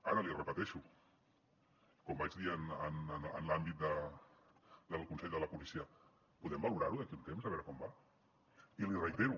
ara l’hi repeteixo com vaig dir en l’àmbit del consell de la policia podem valorar ho d’aquí a un temps a veure com va i li reitero